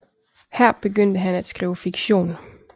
Her begyndte han at skrive fiktion